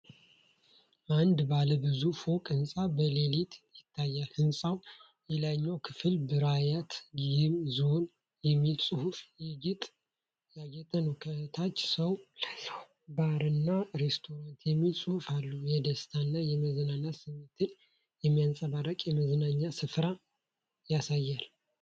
አንድ ባለ ብዙ ፎቅ ሕንፃ በሌሊት ይታያል። የሕንፃው የላይኛው ክፍል "ብራይት ጌም ዞን" በሚል ጽሑፍ ያጌጠ ነው። ከታች “ሰው ለሰው ባርና ሬስቶራንት” የሚል ጽሑፍ አለ። የደስታና የመዝናናት ስሜትን የሚያንጸባርቅ የመዝናኛ ስፍራ ያሳያል።